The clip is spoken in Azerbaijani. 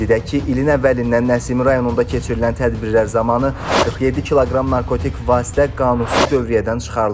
Qeyd edək ki, ilin əvvəlindən Nəsimi rayonunda keçirilən tədbirlər zamanı 47 kq narkotik vasitə qanunsuz dövriyyədən çıxarılıb.